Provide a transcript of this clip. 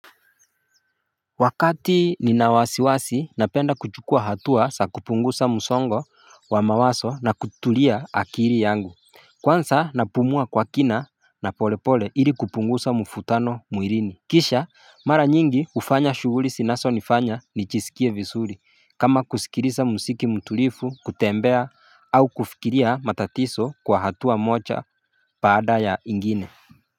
Wakati nina wasiwasi napenda kuchukua hatua za kupunguza msongo wa mawazo na kutulia akili yangu kwanza napumua kwa kina na pole pole ili kupunguza muvutano mwilini. Kisha mara nyingi, hufanya shughuli zinazo nifanya nijisikie vizuri kama kusikilisa muziki mtulifu, kutembea au kufikiria matatizo kwa hatua moja baada ya ingine.